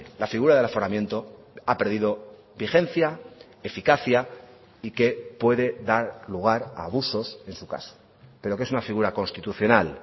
la figura del aforamiento ha perdido vigencia eficacia y que puede dar lugar a abusos en su caso pero que es una figura constitucional